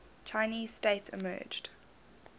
chinese state emerged